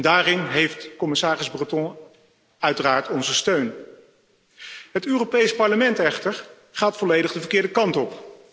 Daarin heeft commissaris Breton uiteraard onze steun. Het Europees Parlement gaat echter volledig de verkeerde kant op.